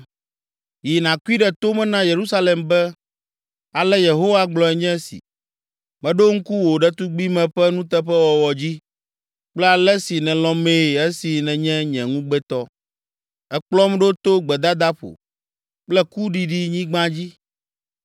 “Yi nàkui ɖe to me na Yerusalem be, “Ale Yehowa gblɔe nye si: “ ‘Meɖo ŋku wò ɖetugbime ƒe nuteƒewɔwɔ dzi, kple ale si nèlɔ̃mee esi nènye nye ŋugbetɔ. Èkplɔm ɖo to gbedadaƒo kple kuɖiɖinyigba dzi.